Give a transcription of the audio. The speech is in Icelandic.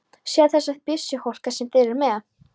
Sjáðu þessa byssuhólka sem þeir eru með!